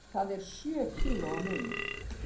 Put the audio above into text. Það er sjö kílóa munur.